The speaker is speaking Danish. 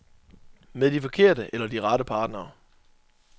Med de forkerte eller de rette partnere.